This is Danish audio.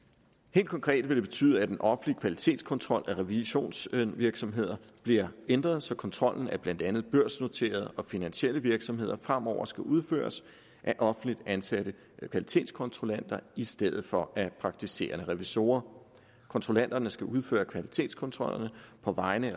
helt konkret vil det betyde at den offentlige kvalitetskontrol af revisionsvirksomheder bliver ændret så kontrollen af blandt andet børsnoterede og finansielle virksomheder fremover skal udføres af offentligt ansatte kvalitetskontrollanter i stedet for af praktiserende revisorer kontrollanterne skal udføre kvalitetskontrollerne på vegne